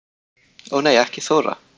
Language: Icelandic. Ó nei ekki Þóra